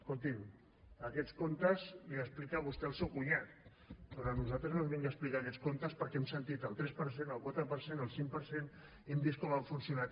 escolti’m aquests contes els explica vostè al seu cunyat però a nosaltres no ens vingui a explicar aquests contes perquè hem sentit el tres per cent el quatre per cent el cinc per cent i hem vist com han funcionat